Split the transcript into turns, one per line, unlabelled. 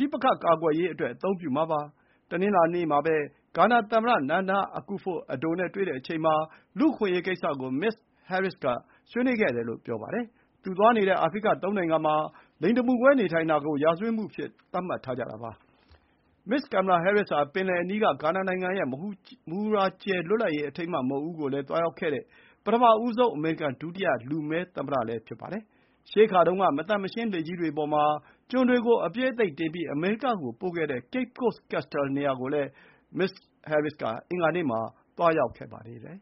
ဋိပက္ခကာကွယ်ရေးအတွက် အသုံးပြုမှာပါ။ တနင်္လာနေ့မှာပဲ ဂါနာသမ္မတ Nana Akufo-Addo နဲ့တွေ့တဲ့အချိန်မှာ လူ့အခွင့်အရေးကိစ္စကို မစ္စဟဲရစ္စ်က ဆွေးနွေးခဲ့တယ်လို့ ပြောပါတယ်။ သူသွားနေတဲ့ အာဖရိကသုံးနိုင်ငံမှာ လိင်တမူကွဲနေထိုင်တာကို ရာဇဝတ်မှုအဖြစ်သတ်မှတ်ထားကြတာပါ။ မစ္စ်ကင်မလာဟဲရစ်္စဟာ ပင်လယ်အနီးက ဂါနာနိုင်ငံရဲ့ မဟူရာကြယ်လွတ်လပ်ရေး အထိမ်းအမှတ်မုခ်ဦးကို သွားရောက်ခဲ့တဲ့ ပထမဆုံး အမေရိကန် ဒုတိယလူမည်း သမ္မတလည်း ဖြစ်ပါတယ်။ ရှေးခါတုန်းက မသန့်မရှင်း လှေကြီးတွေအပေါ်မှာ ကျွန်တွေကို အပြည့်အသိပ်တင်ပြီး အမေရိကကိုပို့ခဲ့တဲ့ Cape Coast Castle နေရာကိုလည်း မစ္စဟဲရစ်စ်က အင်္ဂါနေ့မှာ သွားရောက်ခဲ့ပါသေးတယ်